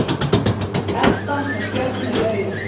Edda með stjörnur í augunum.